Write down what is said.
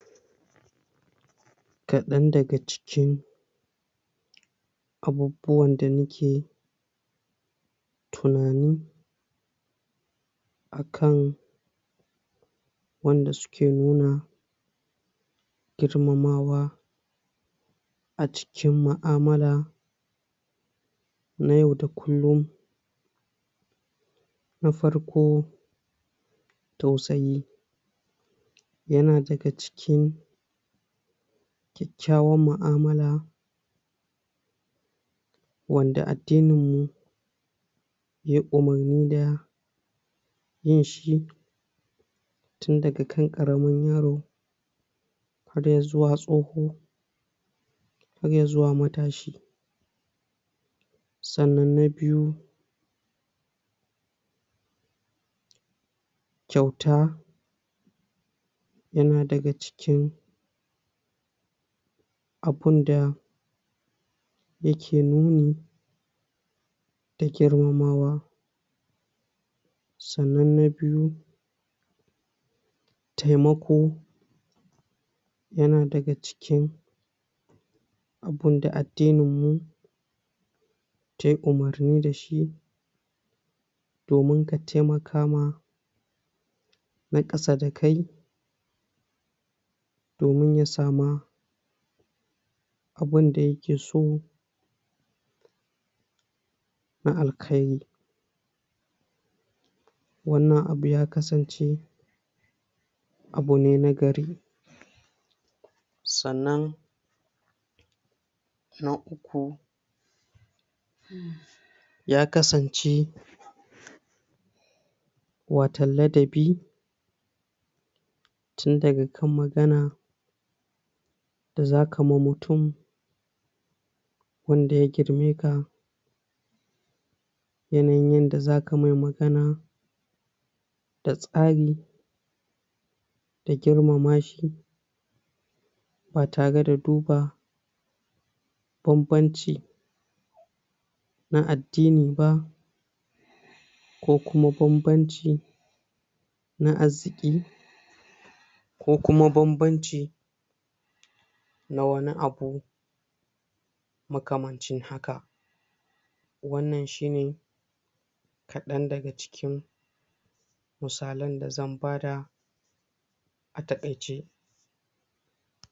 Kaɗan daga cikin abubuwan da ni ke tunani a kan wanda su ke nuna girmamawa a cikin mu'amala na yau da kullum, na farko: Tausayi ya na daga cikin kyakkyawan mu'amala wanda addininmu yai umarni da yin shi, tun daga kan ƙaramin yaro har ya zuwa tsoho har ya zuwa matashi, sannan na biyu: Kyauta ya na daga cikin abunda ya ke nuni da girmamawa, sannan na biyu: Taimako ya na daga cikin abunda addininmu yai umarni da shi, domin ka taimaka ma na ƙasa da kai domin ya samu abunda ya ke so na alkairi, wannan abu ya kasance abu ne nagari, sannan na uku: Ya kasance watau ladabi tun daga kan magana da zaka ma mutum wanda ya girmeka, yanayin yanda za ka mai magana da tsari da girmama shi, ba tare da duba banbanci na addini ba, ko kuma banbanci na arziƙi, ko kuma banbanci na wani abu makamancin haka, wannan shine kaɗan daga cikin musalan da zan bada a taƙaice.